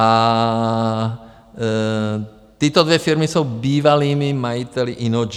A tyto dvě firmy jsou bývalými majiteli Innogy.